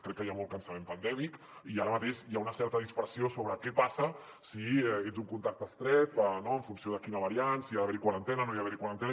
crec que hi ha molt cansament pandèmic i ara mateix hi ha una certa dispersió sobre què passa si ets un contacte estret no en funció de quina variant si hi ha d’haver quarantena o no hi ha d’haver quarantena